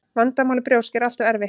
Vandamál með brjósk er alltaf erfitt.